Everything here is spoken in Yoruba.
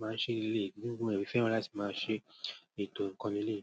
máa ń ṣe ilé. Nígbà mìíràn, mo fẹ́ràn láti máa ṣe ètò nǹkan ni eeyi.